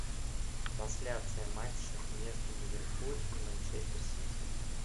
трансляция матча между ливерпуль и манчестер сити